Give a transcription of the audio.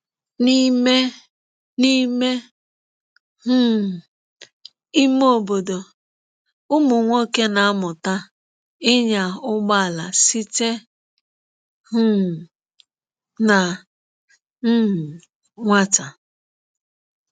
N'ime N'ime um ime obodo, ụmụ nwoke na-amụta ịnya ụgbọala site um na um nwata.